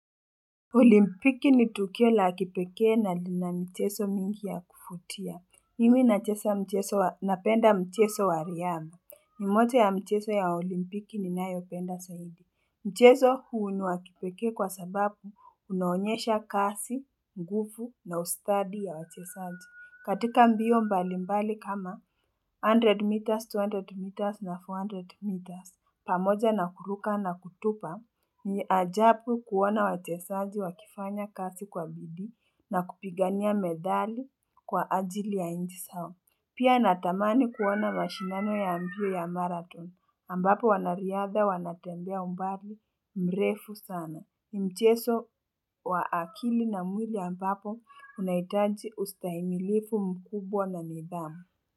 Olimpiki ni tukio la kipekee na lina mcheso mingi ya kufutia. Mimi nachesa mcheso wa napenda mcheso wa riyama. Mmoja ya mcheso ya olimpiki ninayo penda saidi. Mcheso huu ni wa kipekee kwa sababu unaonyesha kasi, ngufu na ustadi ya wachesaji. Katika mbio mbalimbali kama 100 meters, 200 meters na 400 meters. Pamoja na kuruka na kutupa ni ajapu kuona wachesaji wakifanya kasi kwa bidii na kupigania medali kwa ajili ya inchi sao. Pia natamani kuona mashindano ya mbio ya marathon ambapo wanariadha wanatembea umbali mrefu sana. Mcheso wa akili na mwili ambapo unahitaji ustahimilifu mkubwa na nidhamu.